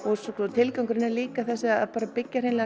tilgangurinn er líka að byggja hreinlega